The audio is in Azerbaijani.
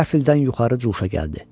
Qəfildən yuxarı cuşa gəldi.